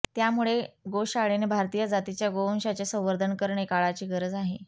त्यामुळे गोशाळेने भारतीय जातीच्या गोवंशाचे संवर्धन करणे काळाची गरज आहे